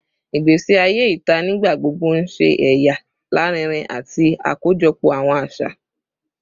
Igbesi aye ita nigbagbogbo n ṣe ẹya larinrin ati akojọpọ awọn aṣa